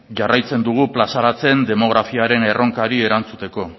jarraitzen dugu plazaratzen demografiaren erronkari erantzuteko